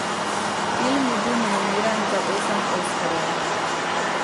Film je bil nominiran za osem oskarjev.